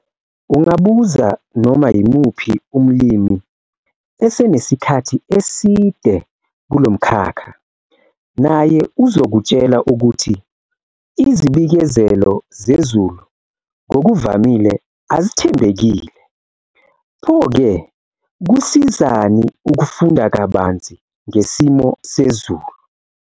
Ungabuza noma yimuphi umlimi esenesikhathi eside kulo mkhakha naye uzokutshela ukuthi izibikezelo zezulu ngokuvamile azithembekile! Pho ke, kusizani ukufunda kabanzi ngesimo sezulu?